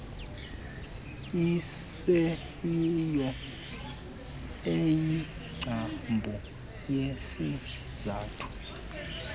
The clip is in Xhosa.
iseyiyo eyingcambu yesizathu